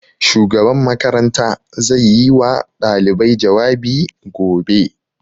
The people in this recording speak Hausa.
Shugaban makaranta zai yi wa ɗalibai jawabi gobe